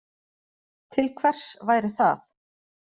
Til hvers væri það